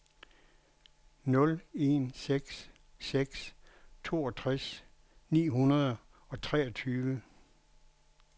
nul en seks seks toogtres ni hundrede og treogtyve